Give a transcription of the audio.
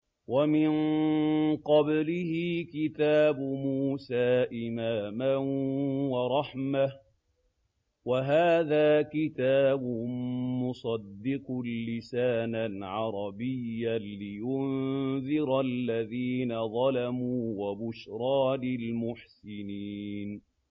وَمِن قَبْلِهِ كِتَابُ مُوسَىٰ إِمَامًا وَرَحْمَةً ۚ وَهَٰذَا كِتَابٌ مُّصَدِّقٌ لِّسَانًا عَرَبِيًّا لِّيُنذِرَ الَّذِينَ ظَلَمُوا وَبُشْرَىٰ لِلْمُحْسِنِينَ